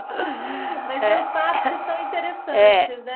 Mas tem os fatos que são interessantes, né?